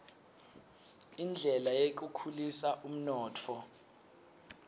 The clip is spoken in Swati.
indlela yekukhulisa umnotfo